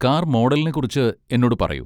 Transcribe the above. car മോഡലിനെ കുറിച്ച് എന്നോട് പറയൂ